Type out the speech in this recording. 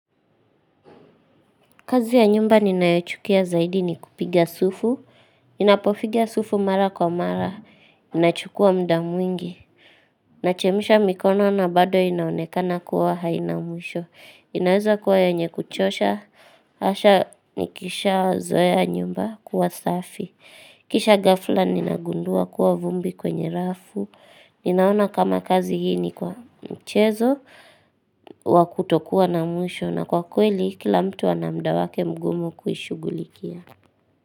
Kazi ya nyumba ninayochukia zaidi ni kupiga sufu. Ninapofiga sufu mara kwa mara. Inachukua muda mwingi. Nachemisha mikono na bado inaonekana kuwa haina mwisho. Inaweza kuwa yenye kuchosha. Asha nikisha zoea nyumba kuwa safi. Kisha ghafla ninagundua kuwa vumbi kwenye rafu. Ninaona kama kazi hii ni kwa mchezo. Wakutokuwa na mwisho. Na kwa kweli kila mtu ana muda wake mgumu kuishughulikia.